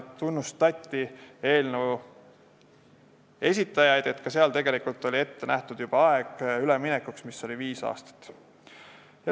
Tunnustati eelnõu esitajaid, et ka eelnõus on ette nähtud üleminekuaeg, mis on viis aastat.